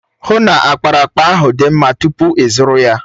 Hụ na ákpáraàkpà ahụ dị mma tupu ịzụrụ ya!